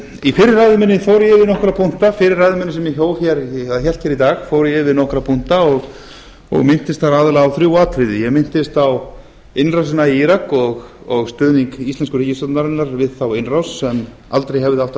í fyrri ræðu minni fór ég yfir nokkra punkta fyrri ræðu minni sem ég hélt hér í dag fór ég yfir nokkra punkta og minntist þar aðallega á þrjú atriði ég minntist á innrásina í írak og stuðning íslensku ríkisstjórnarinnar við þá innrás sem aldrei hefði átt að